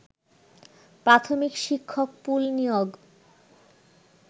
প্রাথমিক শিক্ষক পুল নিয়োগ